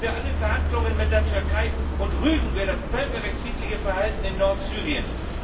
Stoppen wir alle Verhandlungen mit der Türkei und rügen wir das völkerrechtswidrige Verhalten in Nordsyrien!